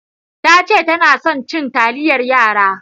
Tace tana son cin taliyar yara.